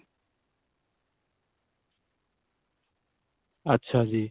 ਅੱਛਾ ਜੀ